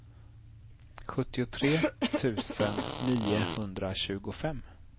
sjuttiotre tusen niohundratjugofem